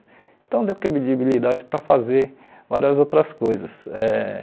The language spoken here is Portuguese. Então deu credibilidade para fazer várias outras coisas eh.